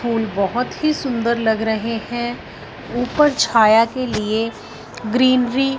फूल बहुत ही सुंदर लग रहे हैं ऊपर छाया के लिए ग्रीनरी --